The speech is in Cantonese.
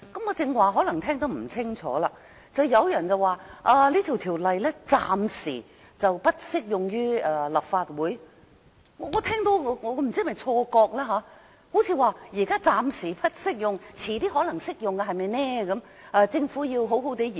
剛才我可能聽得不是太清楚，有人說這法例暫時不適用於立法會，不知是否我的錯覺，乍聽之下，彷彿是現在暫時不適用，日後可能會適用，因此政府要好好研究。